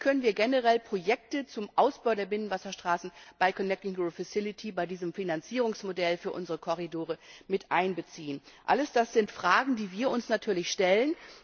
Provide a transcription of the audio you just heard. wird? Und wie können wir generell Projekte zum Ausbau der Binnenwasserstraßen in die Connecting Europe Facility dieses Finanzierungsmodell für unsere Korridore miteinbeziehen? All das sind Fragen, die wir uns natürlich